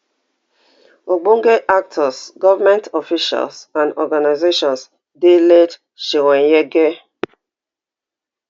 ogbonge actors govment officials and organisations dey late chweneyagae